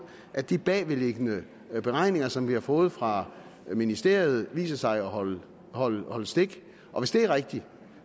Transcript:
at de bagvedliggende beregninger som vi har fået fra ministeriet viser sig at holde holde stik og hvis det er rigtigt